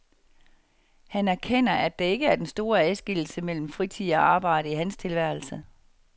Han erkender, at der ikke er den store adskillelse mellem fritid og arbejde i hans tilværelse.